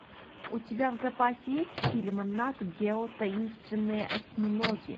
у тебя в запасе есть фильм нат гео таинственные осьминоги